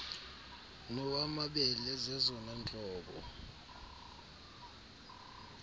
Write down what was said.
nowamabele zezona ntlobo